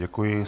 Děkuji.